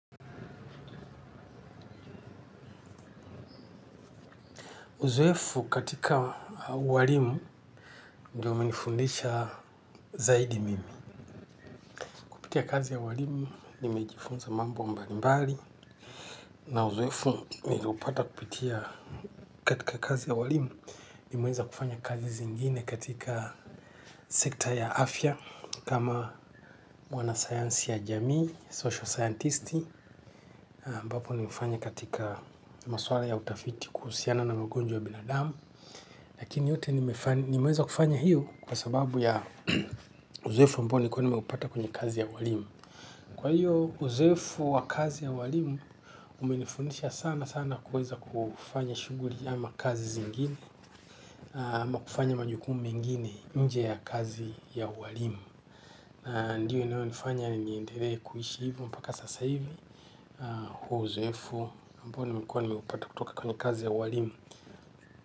Uzoefu katika ualimu ndio umenifundisha zaidi mimi. Kupitia kazi ya walimu, nimejifunza mambo mbalimbali. Na uzoefu, niliupata kupitia katika kazi ya ualimu, nimeweza kufanya kazi zingine katika sekta ya afya, kama mwana sayansi ya jamii, social sayantisti ambapo nimefanya katika maswala ya utafiti kuhusiana na magonjwa ya binadamu. Lakini yote nimeweza kufanya hiyo kwa sababu ya uzoefu ambao nilikuwa nimeupata kwenye kazi ya ualimu. Kwa hiyo uzoefu wa kazi ya ualimu, umenifundisha sana sana kuweza kufanya shughuli ama kazi zingine, ama kufanya majukumu mengine nje ya kazi ya ualimu. Ndiyo inayonifanya niendelee kuishi hivi mpaka sasa hivi, huo uzoefu ambao nimekuwa nimeupata kwenye kazi ya ualimu.